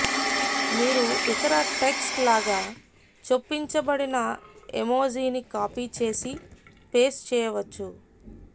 మీరు ఇతర టెక్స్ట్ లాగా చొప్పించబడిన ఎమోజిని కాపీ చేసి పేస్ట్ చెయ్యవచ్చు